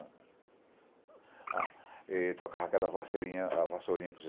Ele tocava aquela vassourinha para vocês.